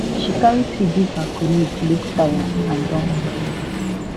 she carry tea give her colleague look tire and don overwork